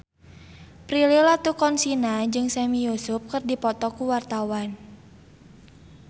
Prilly Latuconsina jeung Sami Yusuf keur dipoto ku wartawan